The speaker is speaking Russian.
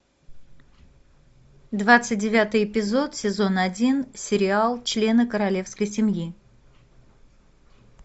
двадцать девятый эпизод сезон один сериал члены королевской семьи